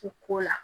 U ko la